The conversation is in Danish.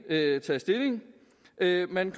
taget stilling at man